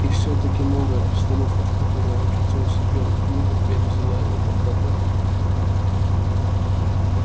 и все таки новая обстановка в которой очутился белый клык опять взяла его в обработку